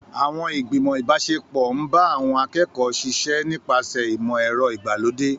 Àwọn ìgbìmọ̀ ìbáṣepọ̀ ń bá àwọn akẹ́kọ̀ọ́ ṣiṣẹ́ nípasẹ̀ ìmọ̀ ẹ̀rọ ìgbàlódé.